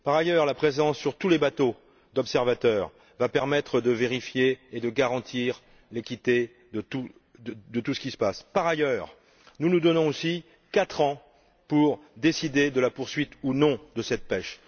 Par ailleurs, la présence d'observateurs sur tous les bateaux va permettre de vérifier et de garantir l'équité de tout ce qui se passe. Par ailleurs, nous nous donnons aussi quatre ans pour décider de la poursuite ou non de cette pêche.